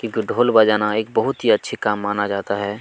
ढोल बजाना एक बहुत ही अच्छा काम माना जाता हैं।